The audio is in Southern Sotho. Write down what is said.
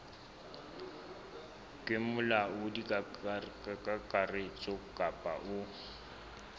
ke molaodi kakaretso kapa o